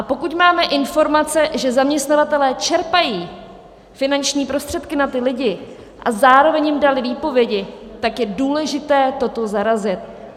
A pokud máme informace, že zaměstnavatelé čerpají finanční prostředky na ty lidi a zároveň jim dali výpovědi, tak je důležité toto zarazit.